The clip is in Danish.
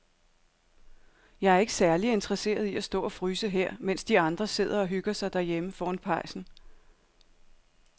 Jeg er ikke særlig interesseret i at stå og fryse her, mens de andre sidder og hygger sig derhjemme foran pejsen.